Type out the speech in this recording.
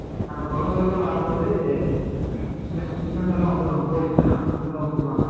அந்த குகை வழியா வரும்போது இவனுங்க எல்லாம் வந்துருவாங்க போலிஸ் எல்லாம்